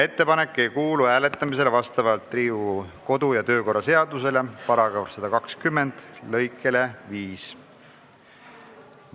Ettepanek ei kuulu vastavalt Riigikogu kodu- ja töökorra seaduse § 120 lõikele 5 hääletamisele.